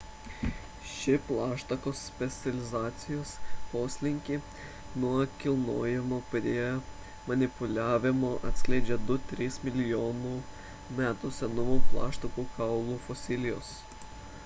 šį plaštakos specializacijos poslinkį nuo kilnojimo prie manipuliavimo atskleidžia 2–3 milijonų metų senumo plaštakų kaulų fosilijos